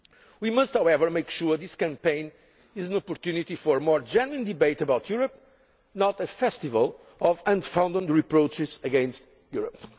We must, however, make sure this campaign is an opportunity for more genuine debate about Europe, not a festival of unfounded reproaches against Europe.